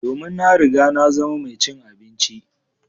Domin na riga na zama mai cin abinci.